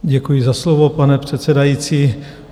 Děkuji za slovo, pane předsedající.